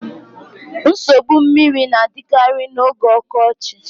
Nsogbu mmiri na-adịkarị n'oge ọkọchị